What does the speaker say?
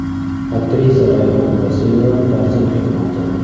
Aktrisa Rayhon Ulasenova farzand kutmoqda.